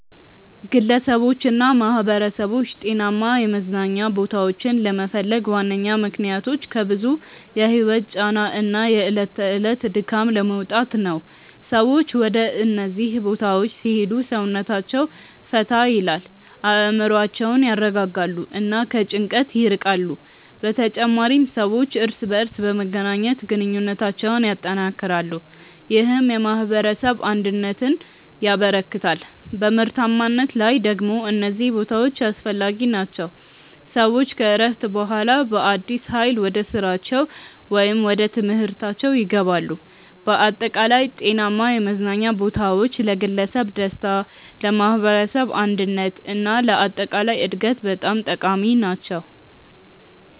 ግለሰቦችና ማኅበረሰቦች ጤናማ የመዝናኛ ቦታዎችን ለመፈለግ ዋነኛ ምክንያቶች ከብዙ የህይወት ጫና እና የዕለት ተዕለት ድካም ለመውጣት ነው። ሰዎች ወደ እነዚህ ቦታዎች ሲሄዱ ሰውነታቸውን ፈታ ይላል፣ አእምሮአቸውን ያረጋጋሉ እና ከጭንቀት ይርቃሉ። በተጨማሪም ሰዎች እርስ በርስ በመገናኘት ግንኙነታቸውን ያጠናክራሉ፣ ይህም የማኅበረሰብ አንድነትን ያበረክታል። በምርታማነት ላይ ደግሞ እነዚህ ቦታዎች አስፈላጊ ናቸው፤ ሰዎች ከእረፍት በኋላ በአዲስ ኃይል ወደ ስራቸው ወይም ወደ ትምህርታችው ይገባሉ። በአጠቃላይ ጤናማ የመዝናኛ ቦታዎች ለግለሰብ ደስታ፣ ለማኅበረሰብ አንድነት እና ለአጠቃላይ እድገት በጣም ጠቃሚ ናቸው።